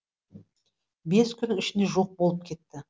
бес күн ішінде жоқ болып кетті